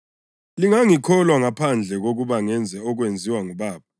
Lingangikholwa ngaphandle kokuba ngenze okwenziwa nguBaba.